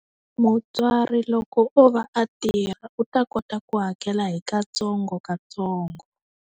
Mutswari loko o va a tirha, u ta kota ku hakela hi ka ntsongo ka ntsongo.